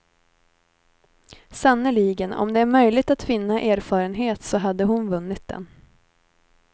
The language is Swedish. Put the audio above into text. Sannerligen, om det är möjligt att vinna erfarenhet så hade hon vunnit den.